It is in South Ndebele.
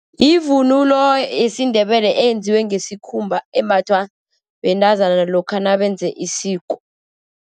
Yivunulo yesiNdebele eyenziwe ngesikhumba, embathwa bentazana lokha nabenze isiko.